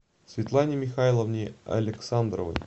светлане михайловне александровой